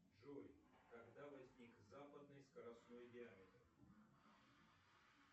джой когда возник западный скоростной диаметр